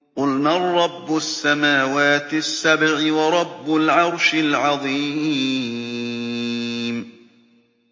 قُلْ مَن رَّبُّ السَّمَاوَاتِ السَّبْعِ وَرَبُّ الْعَرْشِ الْعَظِيمِ